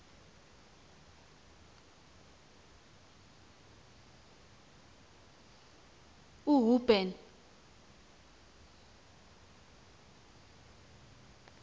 uhuben